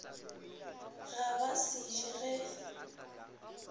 ga ba se je ge